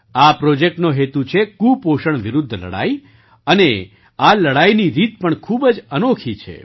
આ પ્રૉજેક્ટનો હેતુ છે કુપોષણ વિરુદ્ધ લડાઈ અને આ લડાઈની રીત પણ ખૂબ જ અનોખી છે